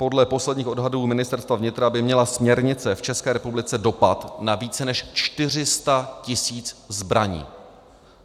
Podle posledních odhadů Ministerstva vnitra by měla směrnice v České republice dopad na více než 400 tisíc zbraní.